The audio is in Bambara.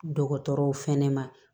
Dɔgɔtɔrɔw fɛnɛ ma